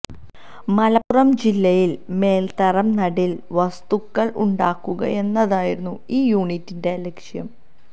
മലപ്പുറം ജില്ലയില് മേല്ത്തരം നടീല് വസ്തുക്കള് ഉണ്ടാക്കുകയെന്നതായിരുന്നു ഈ യൂണിറ്റിന്റെ ലക്ഷ്യം